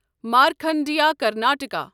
Markandeya Karnataka